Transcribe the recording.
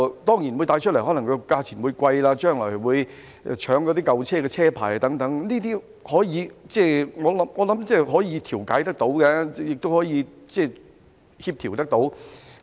當然，這可能會帶出價錢貴的問題，將來市民可能會搶舊車車牌，但我認為這些問題是可以調解，可以協調的。